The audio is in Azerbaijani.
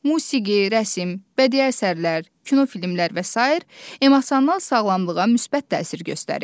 Musiqi, rəsm, bədii əsərlər, kinofilmlər və sair emosional sağlamlığa müsbət təsir göstərir.